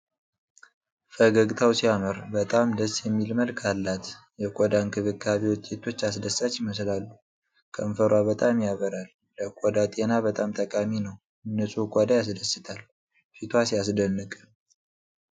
ፈገግታው ሲያምር! በጣም ደስ የሚል መልክ አላት። የቆዳ እንክብካቤ ውጤቶች አስደሳች ይመስላሉ። ከንፈሯ በጣም ያበራል። ለቆዳ ጤና በጣም ጠቃሚ ነው። ንጹህ ቆዳ ያስደስታል። ፊቷ ሲያስደንቅ!